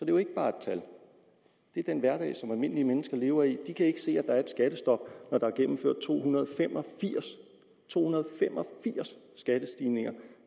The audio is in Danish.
jo ikke bare er et tal det er den hverdag som almindelige mennesker lever i de kan ikke se at der er et skattestop når der er gennemført to hundrede og fem og firs to hundrede og fem og firs skattestigninger